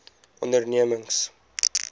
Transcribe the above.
ondernemings